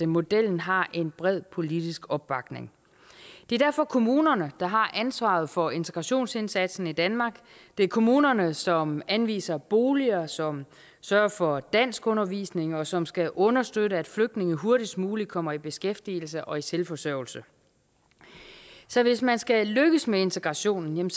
modellen har en bred politisk opbakning det er derfor kommunerne der har ansvaret for integrationsindsatsen i danmark det er kommunerne som anviser boliger som sørger for danskundervisning og som skal understøtte at flygtninge hurtigst muligt kommer i beskæftigelse og er selvforsørgende så hvis man skal lykkes med integrationen